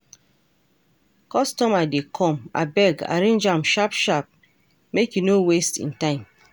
Customer dey come, abeg arrange am sharp sharp make e no waste im time.